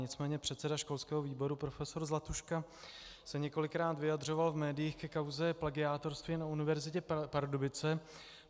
Nicméně předseda školského výboru profesor Zlatuška se několikrát vyjadřoval v médiích ke kauze plagiátorství na Univerzitě Pardubice.